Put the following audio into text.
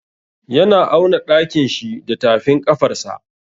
Yana auna ɗakin shi da tafin ƙafarsa.